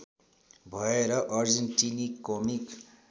भएर अर्जेन्टिनी कमिक